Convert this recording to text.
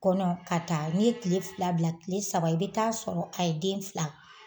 Kɔnɔ ka taa n'i ye tile fila bila tile saba i bɛ taa sɔrɔ a ye den fila